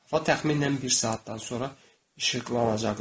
Və təxminən bir saatdan sonra işıqlanacaqdı.